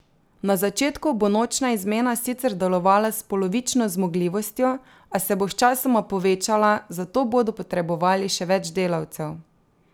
Na začetku bo nočna izmena sicer delovala s polovično zmogljivostjo, a se bo sčasoma povečala, zato bodo potrebovali še več delavcev.